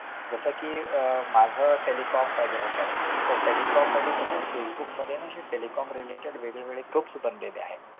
जसं कि आह माझ telecom background आहे तर telecom मध्ये कसं facebook मध्ये telecom related groups बनलेले आहेत